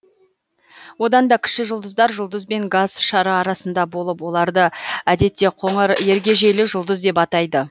одан да кіші жұлдыздар жұлдыз бен газ шары арасында болып оларды әдетте қоңыр ергежейлі жұлдыз деп атайды